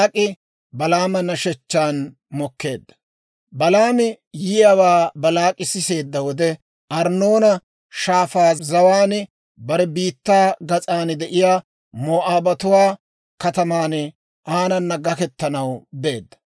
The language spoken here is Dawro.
Balaami yiyaawaa Baalaak'i siseedda wode, Arnnoona Shaafaa zawaan bare biittaa gas'an de'iyaa Moo'aabatuwaa kataman aanana gakkettanaw beedda.